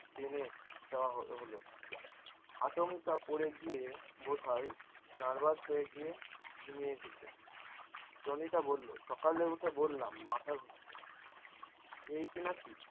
দেয়া হলো। আচমকা পড়ে গিয়ে বোধোয় nervous হয়ে গিয়ে । জনিতা বললো সকালে উঠে বললাম মাথা ঘুরছে। এইনাকি